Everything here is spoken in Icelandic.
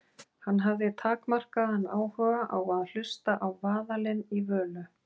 Hann hafði takmarkaðan áhuga á að hlusta á vaðalinn í Völu.